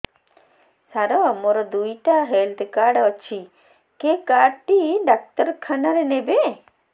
ସାର ମୋର ଦିଇଟା health card ଅଛି କେ କାର୍ଡ ଟି ଡାକ୍ତରଖାନା ରେ ନେବେ